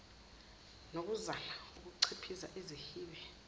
nokuzama ukunciphisa izihibe